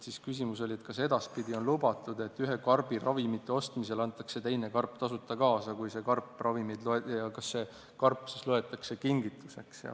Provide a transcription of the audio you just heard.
Siis oli küsimus, kas edaspidi on lubatud, et ühe karbi ravimite ostmisel antakse teine karp tasuta kaasa ja kas see siis loetakse kingituseks.